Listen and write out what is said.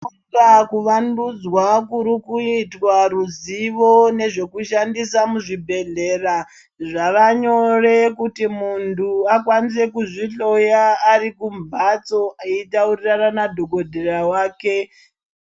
Kuvandudzwa kurikuitwa ruzivo nezvekushandisa muzvibhehleya zvavanyore kuti muntu akwanise kuzvihloya arikumbatso eitaurirana madhokodheya wake.